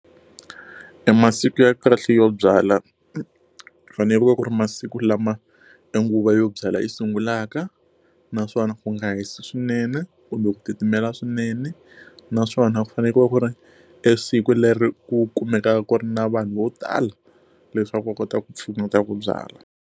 E masiku ya kahle yo byala ku fanele ku ri masiku lama e nguva yo byalwa yi sungulaka, naswona u nga hisi swinene kumbe ku titimela swinene. Naswona ku fanekele ku ri e siku leri ku kumekaka ku ri na vanhu vo tala leswaku va kota ku ku pfuneta ku byala.